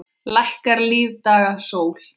Lækkar lífdaga sól.